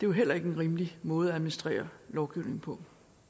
jo heller ikke en rimelig måde at administrere lovgivningen på